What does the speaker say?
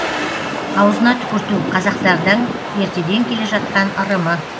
аузына түкірту қазақтардың ертеден келе жатқан ырымы